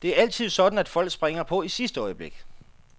Det er altid sådan, at folk springer på i sidste øjeblik.